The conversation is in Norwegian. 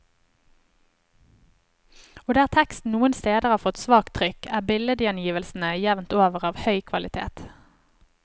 Og der teksten noen steder har fått svakt trykk, er billedgjengivelsene jevnt over av høy kvalitet.